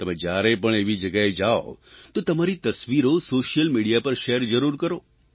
તમે જ્યારે પણ એવી જગ્યાએ જાવ તો તમારી તસવીરો સોશ્યલ મીડિયા પર શેર જરૂર કરો